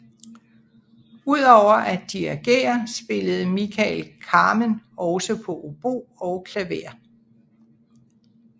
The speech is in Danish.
Ud over at dirigere spillede Michael Kamen også på obo og klaver